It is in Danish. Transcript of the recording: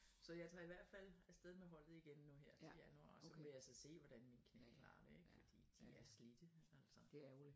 Så jeg tager i hvert fald afsted med holdet igen nu her til januar og så må jeg så se hvordan mit knæ klarer det ik fordi de er slidte altså